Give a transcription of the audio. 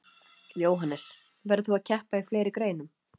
Jóhannes: Verður þú að keppa í fleiri greinum?